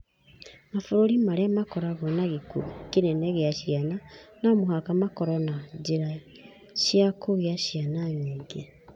Mabũrũri marĩa makoragwo na gĩkuũ kĩnene gĩa ciana no mũhaka makorũo na njĩra cia kũgĩa ciana nyingĩ.